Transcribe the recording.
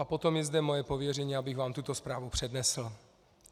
A potom je zde moje pověření, abych vám tuto zprávu přednesl.